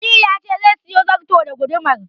Aliyu ya ce zai siyo zarton da gudumar.